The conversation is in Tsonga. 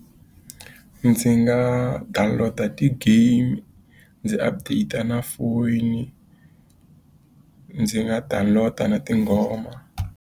Ndzi nga download-a ti-game, ndzi update-a na foyini, ndzi nga download-a na tinghoma.